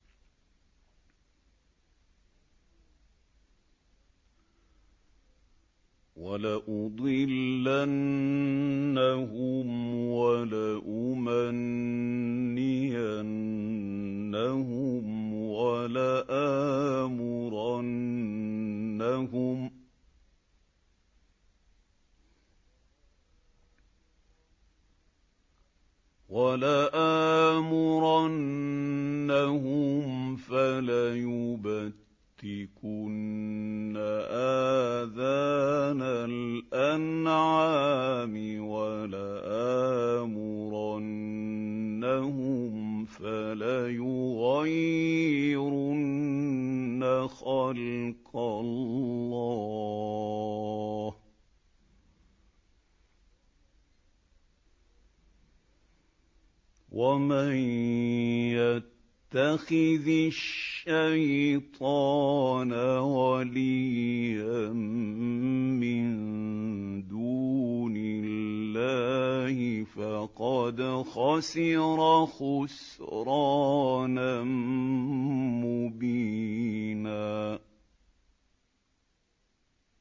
وَلَأُضِلَّنَّهُمْ وَلَأُمَنِّيَنَّهُمْ وَلَآمُرَنَّهُمْ فَلَيُبَتِّكُنَّ آذَانَ الْأَنْعَامِ وَلَآمُرَنَّهُمْ فَلَيُغَيِّرُنَّ خَلْقَ اللَّهِ ۚ وَمَن يَتَّخِذِ الشَّيْطَانَ وَلِيًّا مِّن دُونِ اللَّهِ فَقَدْ خَسِرَ خُسْرَانًا مُّبِينًا